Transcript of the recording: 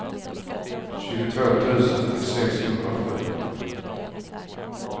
tjugotvå tusen sexhundrasju